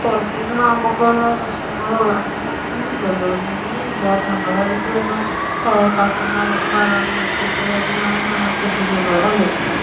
പുറത്തിന്നു വാങ്ങുമ്പോളുള്ള വിഷങ്ങളൊ അങ്ങനെയൊന്നും ഇല്ലല്ലോ ഒന്നുമേ ഇല്ല നമ്മളായിട്ട് തന്നെ ഏഹ് ഉണ്ടാക്കുന്ന വളം വെച്ചിട്ട് തന്നെയാണ് നമ്മൾ കൃഷി ചെയ്യുന്നത്. അല്ലേ?